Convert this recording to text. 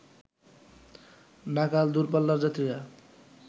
নাকাল দুরপাল্লার যাত্রীরা